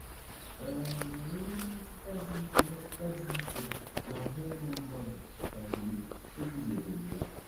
um O nwewo mmetụta dị mmetụta dị ike n’ahụ́ ụmụ mmadụ kemgbe e guzobere ya.